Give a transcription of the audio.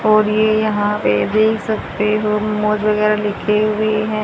और ये यहां पे देख सकते हो मौज वगैरह लिखे हुए हैं।